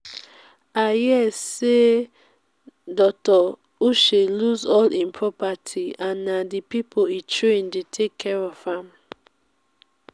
i hear say dr. uche lose all im property and na the people he train dey take care of am